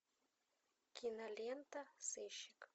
кинолента сыщик